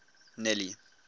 nelly